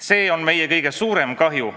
See on meie kõige suurem kahju.